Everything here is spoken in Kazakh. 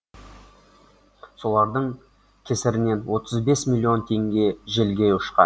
солардың кесірінен отыз бес миллион теңге желге ұшқан